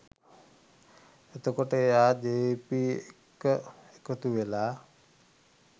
එතකොට එයා ජවිපෙ එක්ක එකතුවෙලා